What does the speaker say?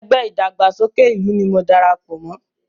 Ẹgbẹ́ ìdàgbàsókè ìlú ni mo dara pọ̀ mọ́